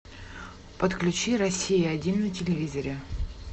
подключи россия один на телевизоре